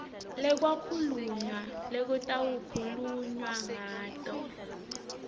lekwakhulunywa lekutawukhulunywa ngato